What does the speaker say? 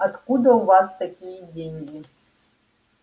откуда у вас такие деньги